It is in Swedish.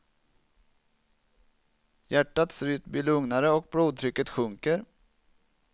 Hjärtats rytm blir lugnare och blodtrycket sjunker.